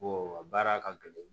baara ka gɛlɛn